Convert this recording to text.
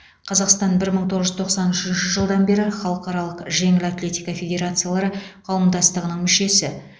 қазақстан бір мың тоғыз жүз тоқсан үшінші жылдан бері халықаралық жеңіл атлетика федерациялары қауымдастығының мүшесі